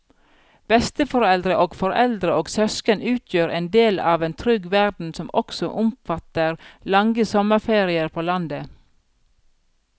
Besteforeldre og foreldre og søsken utgjør en del av en trygg verden som også omfatter lange sommerferier på landet.